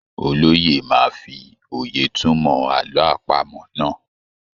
Olóye máa fi òye túmọ̀ àlọ́ àpamọ́ náà.